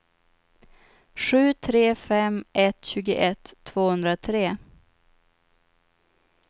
sju tre fem ett tjugoett tvåhundratre